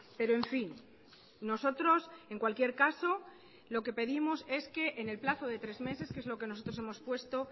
pero en fin nosotros en cualquier caso lo que pedimos es que en el plazo de tres meses que es lo que nosotros hemos puesto